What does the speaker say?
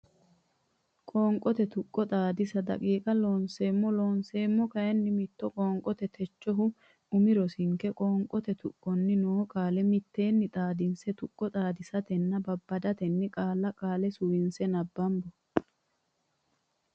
Qoonqote Tuqqo Xaadisa daqiiqa Loonseemmo Looseemmo kayinni mitto qoonqote Techohu umi rosinke qoonqote tuqqonni noo qaale mitteenni xaadinse tuqqo xaadisatenna babbadatenni qaalla qaale suwinse nabbambo.